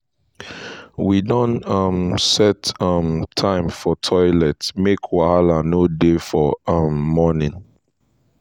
we don um set um time for toilet make wahala no dey for um morning.